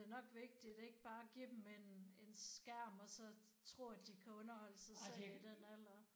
Det nok vigtigt ikke bare give dem en en skærm og så tro at de kan underholde sig selv i den alder